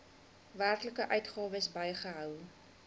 werklike uitgawes bygehou